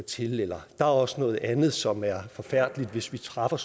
til eller at der også er noget andet som er forfærdeligt hvis vi træffer